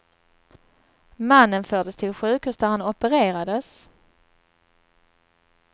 Mannen fördes till sjukhus där han opererades.